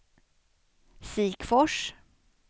Sikfors